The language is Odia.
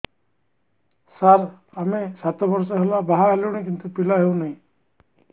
ସାର ଆମେ ସାତ ବର୍ଷ ହେଲା ବାହା ହେଲୁଣି କିନ୍ତୁ ପିଲା ହେଉନାହିଁ